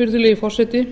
virðulegi forseti